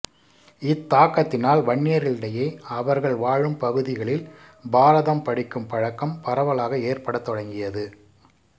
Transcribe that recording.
இத்தாக்கத்தினால் வன்னியர்களிடையே அவர்கள் வாழும்பகுதிகளில் பாரதம் படிக்கும் பழக்கம் பரவலாக ஏற்படத்தொடங்கியது